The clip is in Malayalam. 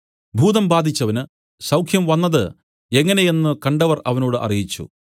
ഭൂതം ബാധിച്ചവനു സൌഖ്യംവന്നത് എങ്ങനെ എന്നു കണ്ടവർ അവരോട് അറിയിച്ചു